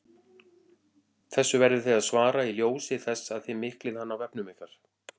Þessu verðið þið að svara í ljósi þess að þið miklið hann á vefnum ykkar!